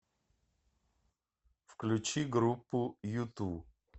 включи группу юту